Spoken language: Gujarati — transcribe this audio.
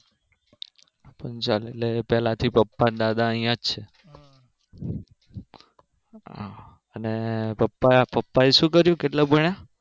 પંચાલ એટલે પેલે થી પપ્પા અને દાદા અહિયાં જ છે હા અને પપ્પા પપ્પાએ શું કર્યું? કેટલું ભણ્યા?